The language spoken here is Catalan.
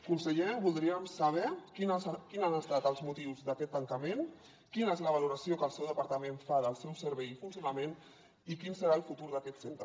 conseller voldríem saber quins han estat els motius d’aquest tancament quina és la valoració que el seu departament fa del seu servei i funcionament i quin serà el futur d’aquest centre